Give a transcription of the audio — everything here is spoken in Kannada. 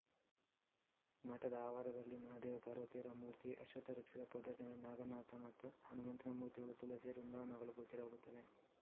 ಮಠದ ಆವಾರದಲ್ಲಿ ಮಹಾದೇವ ಪಾರ್ವತಿಯರ ಮೂರ್ತಿ ಅಶ್ವತ್ಥವೃಕ್ಷದ ಪೊದರಿನಲ್ಲಿ ನಾಗನಾಥ ಮತ್ತು ಹನುಮಂತನ ಮೂರ್ತಿಗಳು ತುಲಸೀ ವೃಂದಾವನಗಳು ಗೋಚರವಾಗುತ್ತವೆ